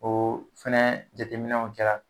O fana jateminw kɛra